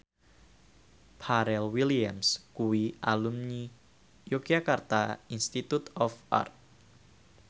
Pharrell Williams kuwi alumni Yogyakarta Institute of Art